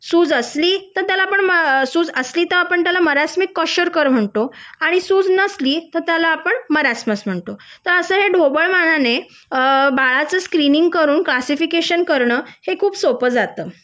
सूज असली सूज असलीअ तर आपण त्याला मारसनिक कोशार्कर म्हणतो आणि सूज नसली तर आपण त्याला मरासमस म्हणतो तर अस हे ढोबळ मनाने अ बाळच स्क्रीनिंग करून क्लासिफिकेशन करण हे खूप सोप जात